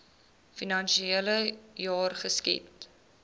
finansiele jaar geskied